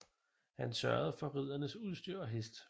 Han sørgede for ridderens udstyr og hest